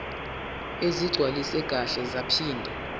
ezigcwaliswe kahle zaphinde